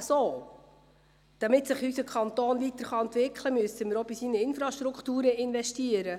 Damit sich unser Kanton weiterentwickeln kann, müssen wir auch in seine Infrastrukturen investieren.